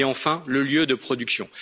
Et enfin, le lieu de production.